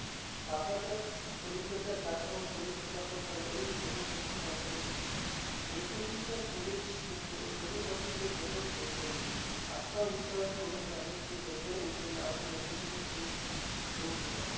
पाटाच्या पलिकडच्या काठावर सूर्यप्रकाशात त्याला एक दगड चमकत असलेला दिसला. बैठकीच्या खोलीत शोभेसाठी तो दगड ठेवता येईल, असा विचार करून त्याने तो दगड उचलला आणि बैठकीच्या खोलीत ठेवून दिला.